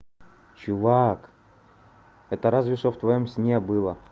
чувак это разве что в твоём сне было